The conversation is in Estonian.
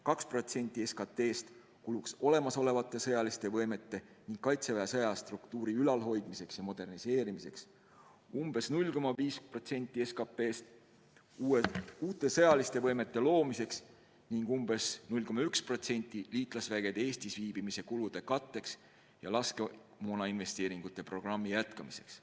2% SKT-st kuluks olemasolevate sõjaliste võimete ning Kaitseväe sõjastruktuuri ülalhoidmiseks ja moderniseerimiseks, umbes 0,5% SKT-st uute sõjaliste võimete loomiseks ning umbes 0,1% liitlasüksuste Eestis viibimise kulude katteks ja laskemoonainvesteeringute programmi jätkamiseks.